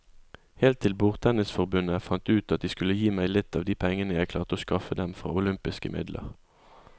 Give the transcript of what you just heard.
Helt til bordtennisforbundet fant ut at de skulle gi meg litt av de pengene jeg klarte å skaffe dem fra olympiske midler.